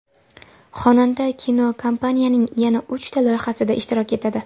Xonanda kinokompaniyaning yana uchta loyihasida ishtirok etadi.